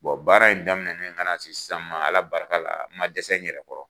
Bɔn baara in daminɛ ka na sisan ma, Ala barika la, n ma dɛsɛ n yɛrɛ kɔrɔ!